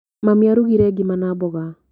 Mami arugire ngima ya mboga.